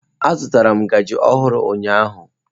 Azụtara m ngaji ọhụrụ ụnyaahụ.